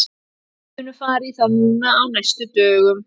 Við munum fara í það núna á næstu dögum.